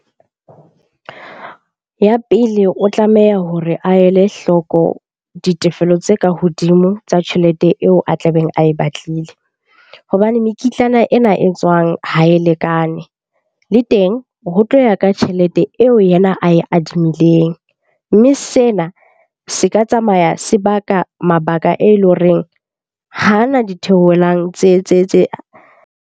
Ya pele, o tlameha hore a ele hloko ditefelo tse ka hodimo tsa tjhelete eo a tlabeng ae batlile. Hobane mekitlana ena e tswang ha e lekane, le teng ho tlo ya ka tjhelete eo yena ae adimileng. Mme sena se ka tsamaya sebaka mabaka e leng horeng ha na ditheohelang tse.